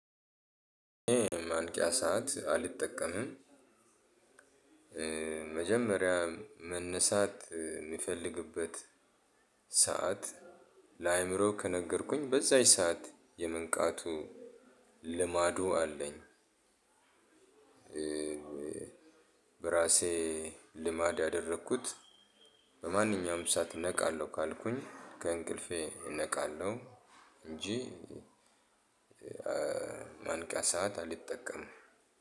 ማንቂያ ሰዓት አልጠቀምም። መጀመሪያ መነሳት የሚፈልግበት ሰዓት ለአእምሮ ከነገርኩኝ በዛች ሰዓት የመንቃቱ ልማዱ አለኝ። በራሴ ልማድ ያደረኩት በማንኛውም ሰዓት እነቃለሁ ካልኩኝ ከእንቅልፌ እነቃለሁ። እንጂ የማንቂያ ሰዓት አልጠቀምም።